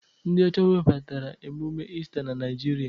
Ndị ọcha webatara emume Ista na Naịjirịa.